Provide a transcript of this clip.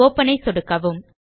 open ஐ சொடுக்கவும்